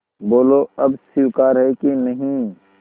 बोलो अब स्वीकार है कि नहीं